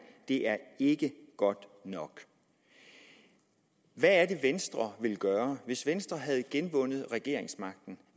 det er ikke godt nok hvad er det venstre ville gøre hvis venstre havde genvundet regeringsmagten